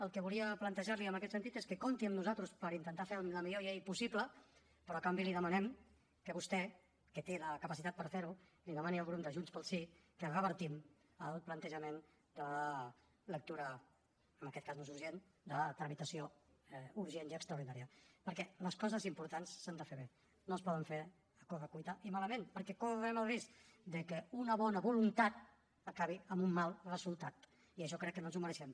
el que volia plantejar li en aquest sentit és que compti amb nosaltres per intentar fer la millor llei possible però a canvi li demanem que vostè que té la capacitat per fer ho demani al grup de junts pel sí que revertim el plantejament de lectura en aquest cas no és urgent de tramitació urgent i extraordinària perquè les coses importants s’han de fer bé no es poden fer a correcuita i malament perquè correm el risc de que una bona voluntat acabi en un mal resultat i això crec que no ens ho mereixem